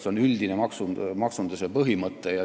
See on üldine maksunduse põhimõte.